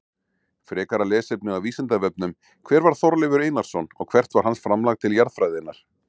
Frekara lesefni á Vísindavefnum: Hver var Þorleifur Einarsson og hvert var hans framlag til jarðfræðinnar?